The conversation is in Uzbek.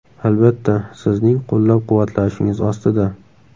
Albatta, sizning qo‘llab-quvvatlashingiz ostida.